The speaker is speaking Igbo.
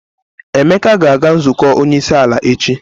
Emeka ga-aga nzukọ onyeisiala echi.